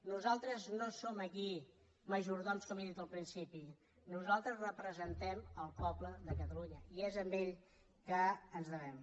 nosaltres no som aquí majordoms com he dit al principi nosaltres representem el poble de catalunya i és a ell que ens devem